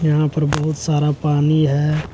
यहाँ पर बहुत सारा पानी है।